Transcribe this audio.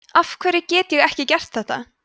afhverju get ég ekki gert þetta